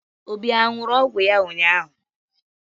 Obi a ṅụrụ ọgwụ ya ụnyaahụ?